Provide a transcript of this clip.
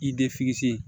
I de fese